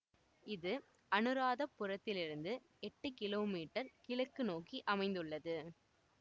இது அநுராதபுரத்திலிருந்து எட்டு கிலோ மீற்றர் கிழக்கு நோக்கி அமைந்துள்ளது